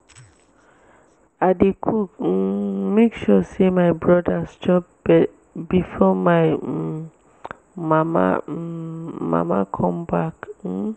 i dey cook um make sure sey my brodas chop befor my um mama um mama come back. um